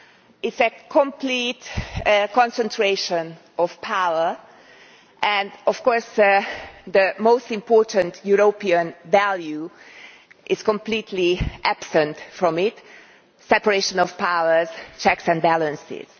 It is a complete concentration of power, and of course the most important European value is completely absent from it separation of powers, checks and balances.